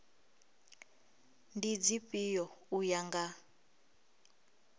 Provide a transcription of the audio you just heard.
ndi dzifhio u ya nga